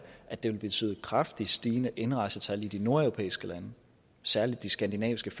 at det vil betyde kraftigt stigende indrejsetal i de nordeuropæiske lande særlig i de skandinaviske